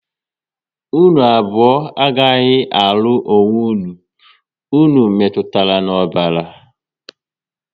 Unu abụọ agaghị alụ onwe unu, unu metụtara na ọbara